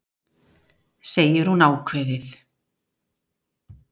segir hún ákveðið.